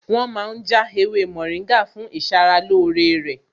Wọn ma ń já ewé mòríngà fún ìṣaralóore rẹ̀